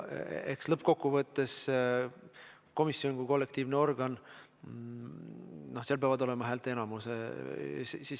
Eks lõppkokkuvõttes komisjon on kollektiivne organ ja komisjoni otsuse taga peab olema häälteenamus.